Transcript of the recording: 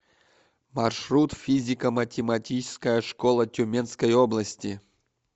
маршрут физико математическая школа тюменской области